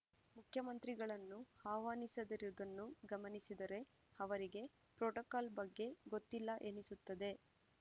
ಮುಖ್ಯಮಂತ್ರಿಗಳನ್ನು ಆಹ್ವಾನಿಸದಿರುವುದನ್ನು ಗಮನಿಸಿದರೆ ಅವರಿಗೆ ಪ್ರೋಟೋಕಾಲ್‌ ಬಗ್ಗೆ ಗೊತ್ತಿಲ್ಲ ಎನಿಸುತ್ತದೆ